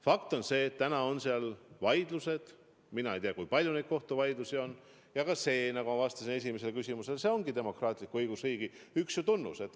Fakt on see, et täna on seal vaidlused – mina ei tea, kui palju neid kohtuvaidlusi on –, aga nagu ma vastasin esimesele küsimusele, see ongi demokraatliku õigusriigi üks tunnus.